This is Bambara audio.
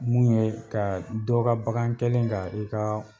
Mun ye ka dɔ ka bakan kɛlen ka i ka